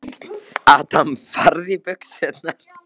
Gía, bókaðu hring í golf á laugardaginn.